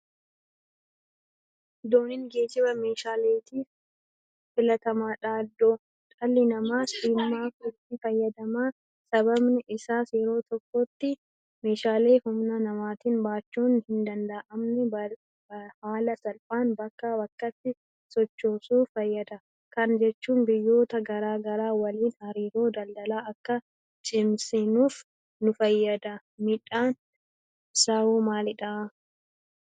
Dooniin geejiba meeshaaleetiif filatamaadha. Dhalli namaas imaaaf itti fayyadama. Sababni isaas yeroo tokkotti meeshaalee humna namaatiin baachuun hindanda'amne haala salphaan bakkaa bakkatti sochoosuuf fayyada. Kana jechuun biyyoota garaa garaa waliin hariiroo daldalaa akka cimsannuuf nufayyada. Miidhaan isaawoo maalidha?